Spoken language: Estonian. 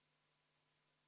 Helle-Moonika Helme, palun!